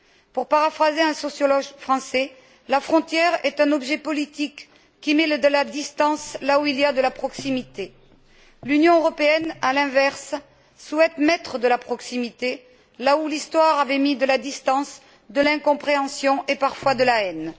Pour paraphraser un sociologue français, la frontière est un objet politique qui met de la distance là où il y a de la proximité. L'Union européenne, à l'inverse, souhaite mettre de la proximité là où l'histoire avait mis de la distance, de l'incompréhension et, parfois, de la haine.